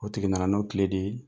O tigi nana n'o de ye.